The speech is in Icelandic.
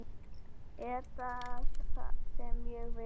Er það það sem ég vil?